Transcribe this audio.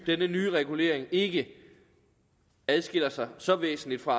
denne nye regulering ikke adskiller sig så væsentligt fra